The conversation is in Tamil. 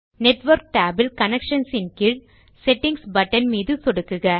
நெட்வொர்க் tab இல் கனெக்ஷன்ஸ் கீழ் செட்டிங்ஸ் பட்டன் மீது சொடுக்குக